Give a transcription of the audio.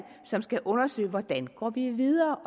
som skal undersøge hvordan vi går videre